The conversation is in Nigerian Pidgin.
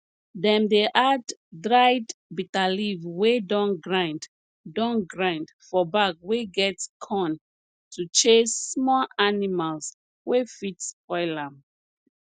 dem dey add dried bitterleaf wey don grind don grind for bag wey get corn to chase small animals wey fit spoil am